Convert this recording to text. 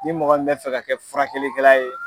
Ni mɔgɔ min bɛ fɛ ka kɛ furakɛli kɛla ye.